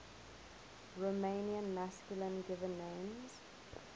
romanian masculine given names